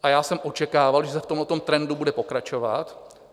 A já jsem očekával, že se v tomhle trendu bude pokračovat.